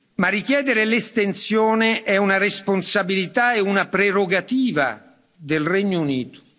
Ma richiedere l'estensione è una responsabilità e una prerogativa del Regno Unito.